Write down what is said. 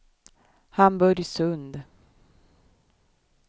Hamburgsund